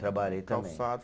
Trabalhei também. Calçados